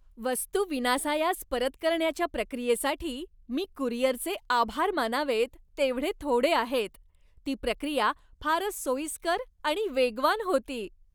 वस्तू विनासायास परत करण्याच्या प्रक्रियेसाठी मी कुरिअरचे आभार मानावेत तेवढे थोडे आहेत, ती प्रक्रिया फारच सोयीस्कर आणि वेगवान होती.